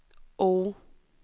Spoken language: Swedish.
O